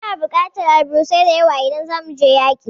Muna bukatar alburusan da yawa idan zamu je yaƙi